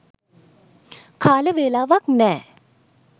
කාල වේලාවක් නෑ.